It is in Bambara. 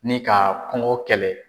Ni ka kɔnkɔ kɛlɛ.